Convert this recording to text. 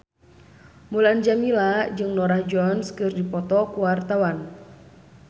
Mulan Jameela jeung Norah Jones keur dipoto ku wartawan